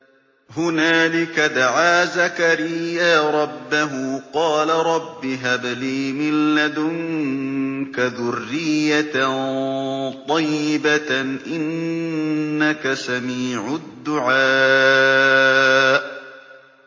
هُنَالِكَ دَعَا زَكَرِيَّا رَبَّهُ ۖ قَالَ رَبِّ هَبْ لِي مِن لَّدُنكَ ذُرِّيَّةً طَيِّبَةً ۖ إِنَّكَ سَمِيعُ الدُّعَاءِ